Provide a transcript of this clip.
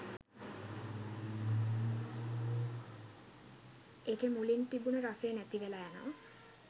එකෙ මුලින් තිබුණ රසය නැතිවෙල යනව.